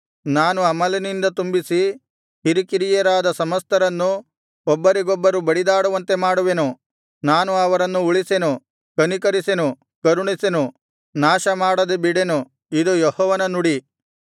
ನಾನು ಅಮಲಿನಿಂದ ತುಂಬಿಸಿ ಹಿರಿಕಿರಿಯರಾದ ಸಮಸ್ತರನ್ನು ಒಬ್ಬರಿಗೊಬ್ಬರು ಬಡಿದಾಡುವಂತೆ ಮಾಡುವೆನು ನಾನು ಅವರನ್ನು ಉಳಿಸೆನು ಕನಿಕರಿಸೆನು ಕರುಣಿಸೆನು ನಾಶಮಾಡದೆ ಬಿಡೆನು ಇದು ಯೆಹೋವನ ನುಡಿ